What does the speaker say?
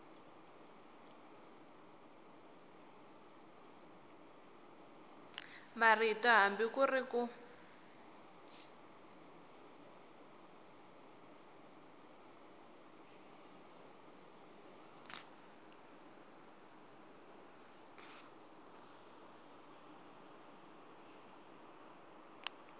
marito hambi ku ri ku